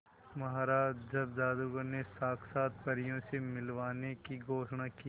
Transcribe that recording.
महाराज जब जादूगर ने साक्षात परियों से मिलवाने की घोषणा की